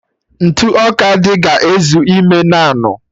Ntụ ọka dị ga-ezu ime naanụ